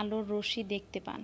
আলোর রশ্মি দেখতে পান।